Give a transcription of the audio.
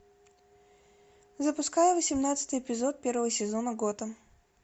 запускай восемнадцатый эпизод первого сезона готэм